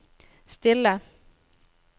stille